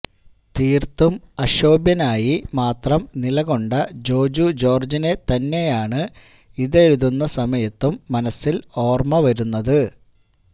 തീര്ത്തും അക്ഷോഭ്യനായി മാത്രം നിലകൊണ്ട ജോജു ജോര്ജിനെ തന്നെയാണ് ഇതെഴുതുന്ന സമയത്തും മനസ്സില് ഓര്മ വരുന്നത്